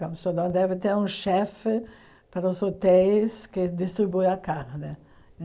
Campos do Jordão deve ter um chefe para os hotéis que distribui a carne.